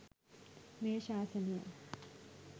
මේ ශාසනය